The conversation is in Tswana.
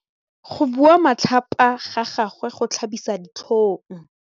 Go bua matlhapa ga gagwe go tlhabisa ditlhong.